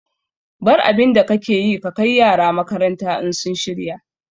Bar abinda kake yi ka kai yara makaranta in sun shirya